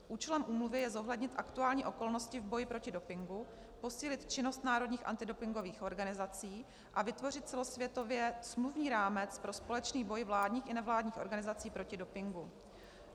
Účelem úmluvy je zohlednit aktuální okolnosti v boji proti dopingu, posílit činnost národních antidopingových organizací a vytvořit celosvětově smluvní rámec pro společný boj vládních i nevládních organizací proti dopingu.